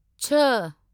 छह